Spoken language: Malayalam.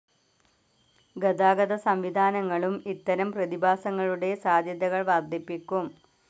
ഗതാഗത സംവിധാനങ്ങളും ഇത്തരം പ്രതിഭാസങ്ങളുടെ സാദ്ധ്യതകൾ വർദ്ധിപ്പിക്കും.